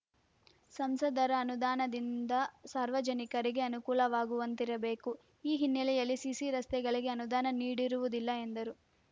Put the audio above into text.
ಸಂಸದರ ಅನುದಾನದಿಂದ ಸಾರ್ವಜನಿಕರಿಗೆ ಅನುಕೂಲವಾಗುವಂತಿರಬೇಕು ಈ ಹಿನ್ನೆಲೆಯಲ್ಲಿ ಸಿಸಿ ರಸ್ತೆಗಳಿಗೆ ಅನುದಾನ ನೀಡಿರುವುದಿಲ್ಲ ಎಂದರು